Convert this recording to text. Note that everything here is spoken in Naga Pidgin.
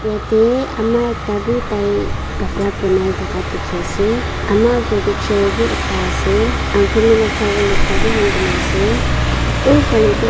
jatte ama ekta bhi tai kapara bonai thaka tu dekhi ase ama asor te chair bhi ekta ase sabo le ekta bhi hang kori ase uffale.